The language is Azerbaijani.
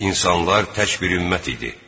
İnsanlar tək bir ümmət idi.